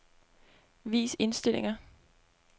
Vis indstillinger.